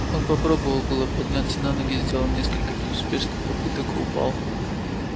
он попробовал было подняться на ноги сделал несколько безуспешных попыток и упал